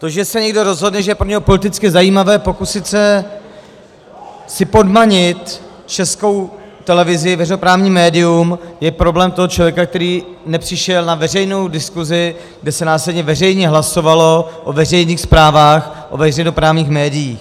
To, že se někdo rozhodne, že je pro něho politicky zajímavé pokusit se si podmanit Českou televizi, veřejnoprávní médium, je problém toho člověka, který nepřišel na veřejnou diskusi, kde se následně veřejně hlasovalo o veřejných zprávách, o veřejnoprávních médiích.